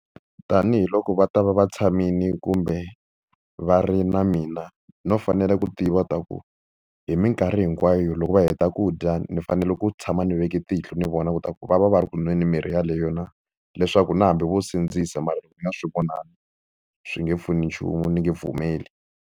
Tanihi loko va ta va va tshamile kumbe va ri na mina no fanele ku tiva leswaku hi mikarhi hinkwayo loko va heta ku dya ni fanele ku tshama ni veke tihlo ni vona leswaku va va va ri ku nweni mirhi yeleyo na. Leswaku na hambi vo sindzisa mara loko ni nga swi vonangi swi nge pfuni nchumu, ni nge pfumeli.